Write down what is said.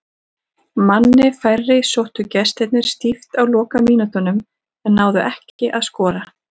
Manni færri sóttu gestirnir stíft á lokamínútunum en náðu ekki að skora.